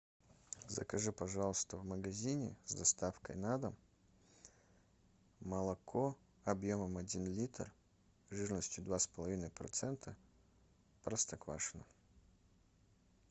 закажи пожалуйста в магазине с доставкой на дом молоко объемом один литр жирностью два с половиной процента простоквашино